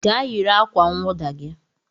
Gaa yiri akwa nwụda gi